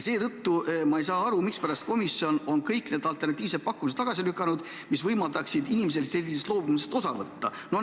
Seetõttu ma ei saa aru, mispärast on komisjon tagasi lükanud kõik need alternatiivsed pakkumised, mis võimaldaksid inimesel ka sellisest loobumisest osa võtta.